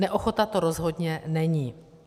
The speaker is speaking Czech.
Neochota to rozhodně není.